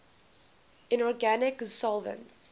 inorganic solvents